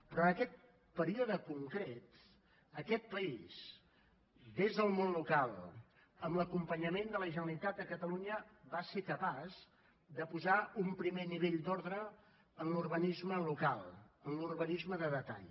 però en aquest període concret aquest país des del món local amb l’acompanyament de la generalitat de catalunya va ser capaç de posar un primer nivell d’ordre en l’urbanisme local en l’urbanisme de detall